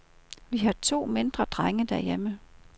Vi har to mindre drenge derhjemme.